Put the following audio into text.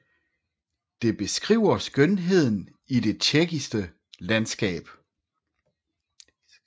Det beskriver skønheden i det tjekkiske landskab